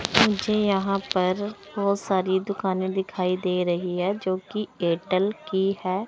मुझे यहां पर बहोत सारी दुकाने दिखाई दे रही है जोकि एयरटेल की है।